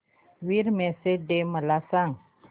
women's day मला सांग